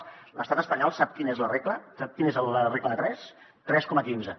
de l’estat espanyol sap quina és la regla sap quina és la regla de tres tres coma quinze